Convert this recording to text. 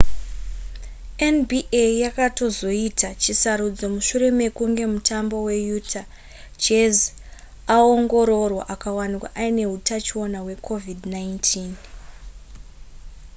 nba yakaitozoita chisarudzo mushure mekunge mutambi weutah jazz aongororwa akawanikwa aine hutachiona hwecovid-19